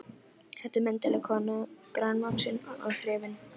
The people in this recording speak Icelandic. Þetta er myndarleg kona, grannvaxin og þrifin.